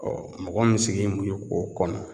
Ɔɔ mɔgɔ min sigilen do yen k'o kɔnɔ